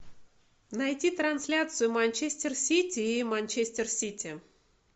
найти трансляцию манчестер сити и манчестер сити